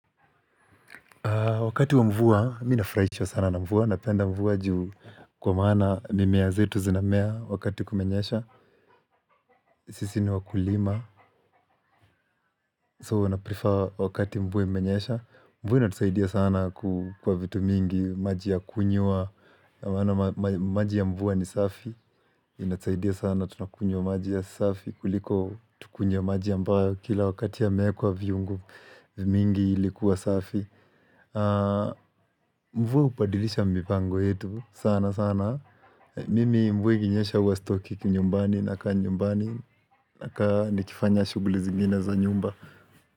Wakati wa mvua, mimi nafraishwa sana na mvua, napenda mvua ju kwa maana mimea zetu zinamea wakati kumenyesha, sisi ni wakulima, so wanaprefer wakati mvua imenyesha. Mvua inatusaidia sana kwa vitu mingi, maji ya kunywa, maana maji ya mvua ni safi, inatusaidia sana tunakunywa maji ya safi, kuliko tukunywe maji ambao kila wakati yameekwa viungo, mingi ili kuwa safi. Mvua hupadilisha mipango yetu sana sana Mimi mvua ikinyesha huwa stoki kinyumbani nakaa nyumbani nakaa nikifanya shughli zingine za nyumba.